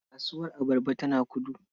Kasuwar abarba tana Kudu.